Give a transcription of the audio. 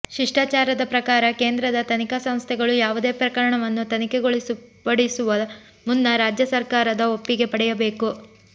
ಶಿಷ್ಟಾಚಾರದ ಪ್ರಕಾರ ಕೇಂದ್ರದ ತನಿಖಾ ಸಂಸ್ಥೆಗಳು ಯಾವುದೇ ಪ್ರಕರಣವನ್ನು ತನಿಖೆಗೊಳಪಡಿಸುವ ಮುನ್ನ ರಾಜ್ಯ ಸರ್ಕಾರದ ಒಪ್ಪಿಗೆ ಪಡೆಯಬೇಕು